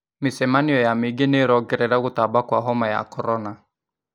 Mĩcemanio ya mũingĩ nĩ ĩrongorera gũtamba kwa homa ya korona